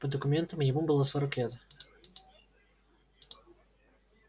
по документам ему было сорок лет